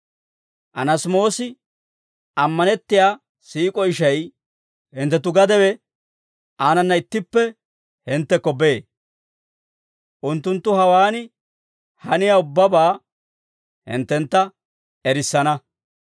Anaasimoosi, ammanettiyaa siik'o ishay, hinttenttu gadewe, aanana ittippe hinttekko bee; unttunttu hawaan haniyaa ubbabaa hinttentta erissana.